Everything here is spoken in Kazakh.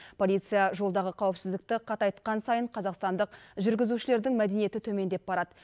полиция жолдағы қауіпсіздікті қатайтқан сайын қазақстандық жүргізушілердің мәдениеті төмендеп барады